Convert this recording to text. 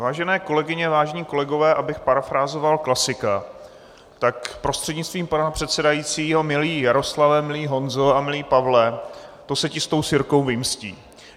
Vážené kolegyně, vážení kolegové, abych parafrázoval klasika, tak prostřednictvím pana předsedajícího: Milý Jaroslave, milý Honzo a milý Pavle, to se ti s tou sirkou vymstí.